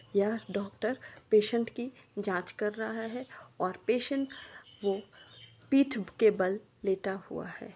यह doctor patient की जांच कर रहा है। और पेशेंट वो पीठ के बल लेटा हुआ है।